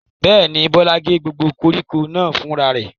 Bẹ́ẹ̀ ni, Bọ́lá gé gbogbo koríko náà fúnra rẹ̀.